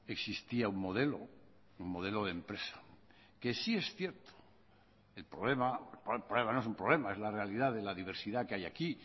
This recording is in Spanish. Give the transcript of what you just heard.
existía un modelo un modelo de empresa que sí es cierto el problema no es un problema es la realidad de la diversidad que hay aquí